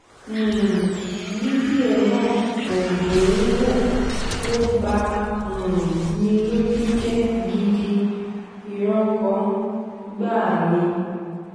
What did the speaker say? um fídíò náà kò dùn-ún-wò ò bá um ní lójú jẹ́ gidi ìrankàn gbáà ni